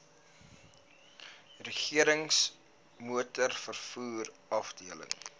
regerings motorvervoer afdeling